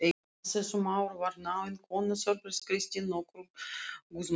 Á þessum árum var náin vinkona Þórbergs Kristín nokkur Guðmundardóttir.